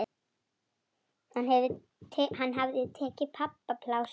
Hann hafði tekið pabba pláss.